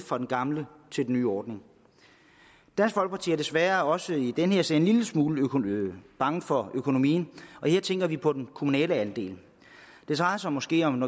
fra den gamle til den nye ordning dansk folkeparti er desværre også i den her sag en lille smule bange for økonomien her tænker vi på den kommunale andel det drejer sig måske om et